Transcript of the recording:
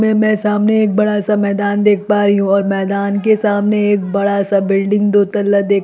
मैं सामने एक बड़ा-सा मैदान देख पा रही हु और मैदान के सामने एक बड़ा-सा बिल्डिंग दो तल्ला देख--